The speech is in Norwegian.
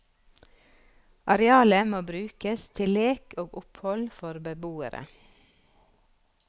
Arealet må brukes til lek og opphold for beboere.